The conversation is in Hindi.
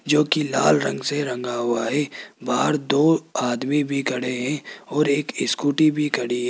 जो कि लाल रंग से रंगा हुआ है बाहर दो आदमी भी खड़े हैं और एक स्कूटी भी खड़ी --